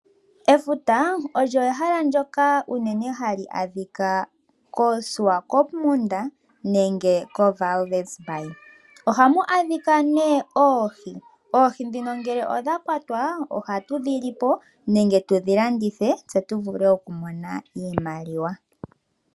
Efuta olyo ehala ndjoka unene hali adhika koShiwakopo nenge kombaye . Ohamu adhika nee oohi. Oohi ndhino ngelw odhakwatwa ohatu dhilipo nenge tudhi landithepo tse tuvule okumona iimaliwa.